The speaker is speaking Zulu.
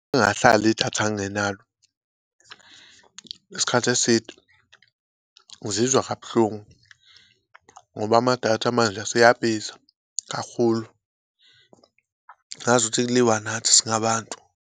Ngake ngahlala idatha ngingenalo isikhathi eside ngizizwa kabuhlungu ngoba amadatha manje aseyabiza kakhulu, ngazukuthi kuliwa nathi singabantu.